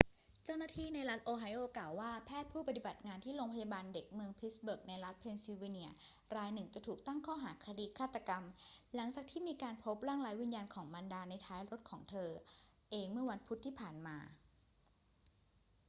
เจ้าหน้าที่ในรัฐโอไฮโอกล่าวว่า แพทย์ผู้ปฏิบัติงานที่โรงพยาบาลเด็กเมืองพิตต์สเบิร์กในรัฐเพนซิลเวเนียรายหนึ่งจะถูกตั้งข้อหาคดีฆาตกรรม หลังจากที่มีการพบร่างไร้วิญญาณของมารดาในท้ายรถของเธอเองเมื่อวันพุธที่ผ่านมา